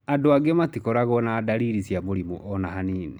Andũ angĩ matikorago na dariri cia mũrimũ ona hanini.